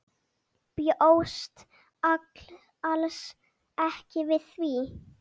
Bjóst alls ekki við því.